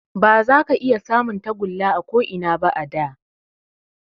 Ba za ka iya samun tagulla a ko Ina ba a da